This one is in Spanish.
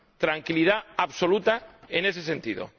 Tranquilidad absoluta en ese sentido.